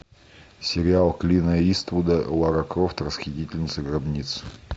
сериал клина иствуда лара крофт расхитительница гробниц